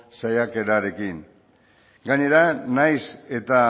saiakerarekin gainera nahiz eta